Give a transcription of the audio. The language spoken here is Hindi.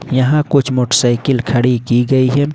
यहां कुछ मोटरसाइकिल खड़ी की गई है।